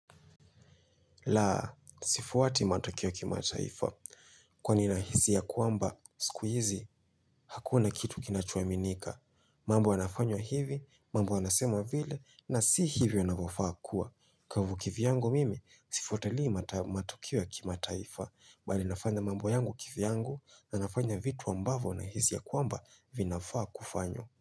Laa, sifuati matokeo ya kimataifa. Kwani ninahisi ya kwamba, siku hizi, hakuna kitu kinachoaminika. Mambo yanafanywa hivi, mambo yanasemwa vile, na si hivi yanavyofaa kuwa. Kwa hivyo kivyangu mimi, sifuatilii matokeo ya kimataifa. Mbali nafanya mambo yangu kivyangu, na nafanya vitu ambavyo nahisi ya kwamba vinafaa kufanywa.